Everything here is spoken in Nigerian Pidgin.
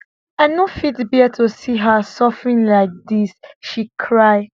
i no fit bear to see her suffering like dis she cry